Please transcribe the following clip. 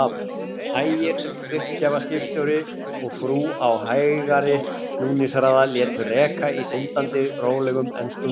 Ægir uppgjafaskipstjóri og frú á hægari snúningshraða, létu reka í syndandi rólegum, enskum valsi.